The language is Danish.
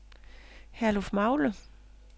Herlufmagle